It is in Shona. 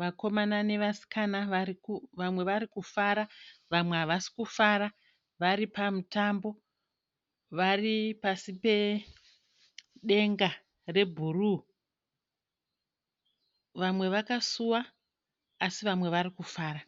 Vakomana nevasikana vamwe vari kufara vamwe havasi kufara vari pamutambo vari pasi pedenga rebhuruu. Vamwe vakasuwa asi vamwe vari kufara.